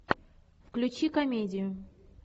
включи комедию